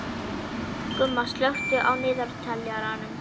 Gumma, slökktu á niðurteljaranum.